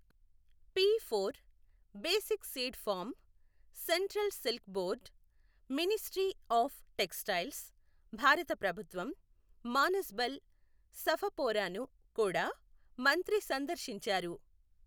P four, basic seed farm, central silk board, ministry of textiles, భారత ప్రభుత్వం, మానస్బల్, సఫపోరాను కూడా మంత్రి సందర్శించారు.